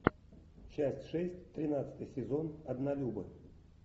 часть шесть тринадцатый сезон однолюбы